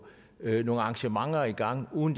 nogle arrangementer i gang uden